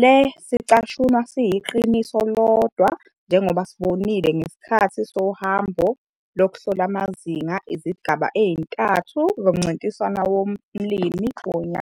Le sicashunwa siyiqiniso lodwa njengoba sibonile ngesikhathi sohambo lukuhlola amazinga izigaba ezintathu zoMncintiswano woMlimi woNyaka.